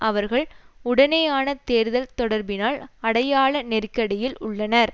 அவர்கள் உடனான தேர்தல் தொடர்பினால் அடையாள நெருக்கடியில் உள்ளனர்